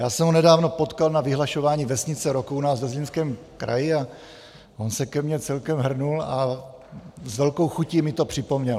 Já jsem ho nedávno potkal na vyhlašování Vesnice roku u nás ve Zlínském kraji a on se ke mně celkem hrnul a s velkou chutí mi to připomněl.